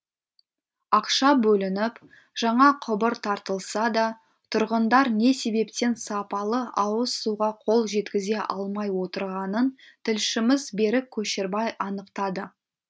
ақша бөлініп жаңа құбыр тартылса да тұрғындар не себептен сапалы ауыз суға қол жеткізе алмай отырғанын тілшіміз берік көшербай анықтады